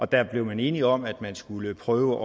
der blev man enige om at man skulle prøve